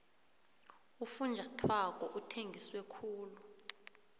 ufunjathwako uthengise khulu